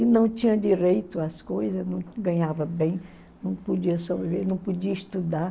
E não tinha direito às coisas, não ganhava bem, não podia sobreviver, não podia estudar.